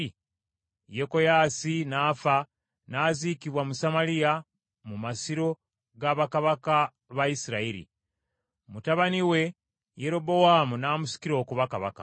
Yekoyaasi n’afa n’aziikibwa mu Samaliya mu masiro ga bakabaka ba Isirayiri. Mutabani we Yerobowaamu n’amusikira okuba kabaka.